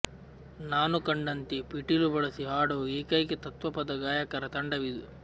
ನಾನು ಕಂಡಂತೆ ಪಿಟೀಲು ಬಳಸಿ ಹಾಡುವ ಏಕೈಕ ತತ್ವಪದ ಗಾಯಕರ ತಂಡ ವಿದು